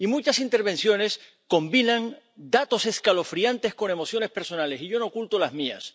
Y muchas intervenciones combinan datos escalofriantes con emociones personales, y yo no oculto las mías.